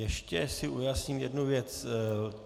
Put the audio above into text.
Ještě si ujasním jednu věc.